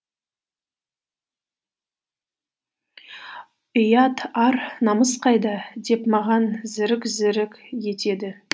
ұят ар намыс қайда деп маған зірік зірік етеді